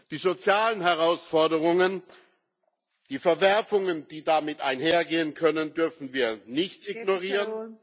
Die sozialen Herausforderungen, die Verwerfungen, die damit einhergehen können, dürfen wir nicht ignorieren.